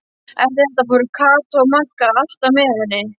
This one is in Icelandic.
Eftir þetta fóru Kata og Magga alltaf með henni.